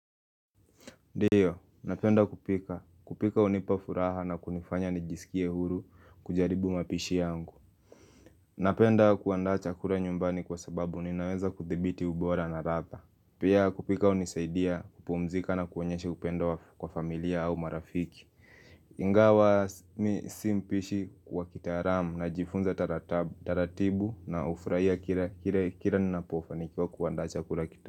Ndiyo, napenda kupika. Kupika hunipa furaha na kunifanya nijisikie huru kujaribu mapishi yangu. Napenda kuandaa chakula nyumbani kwa sababu ninaweza kuthibiti ubora na ladha. Pia kupika hunisaidia kupumzika na kuonyeshe upendo kwa familia au marafiki. Ingawa mimi si mpishi wa kitaalamu najifunza taratibu na hufurahia kile kila ninapofanikwa kuandaa chakula kitamu.